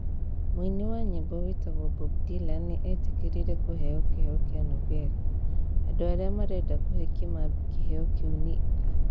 Mũini wa nyĩmbo wĩtagwo Bob Dylan nĩ eetĩkĩrire kũheo kĩheo kĩa Nobel. Andũ arĩa marenda kũhe Kimambi kĩheo kĩu nĩ a?